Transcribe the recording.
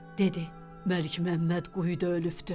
Dedi: Məlikməmməd quyuda ölübdür.